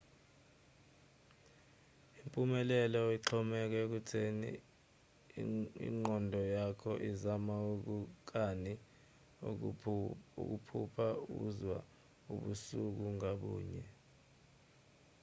umphumela uxhomeke ekutheni ingqondo yakho izama kangakanani ukuphupha izwa ubusuku ngabunye